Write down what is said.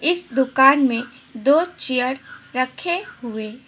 इस दुकान में दो चेयर रखे हुए--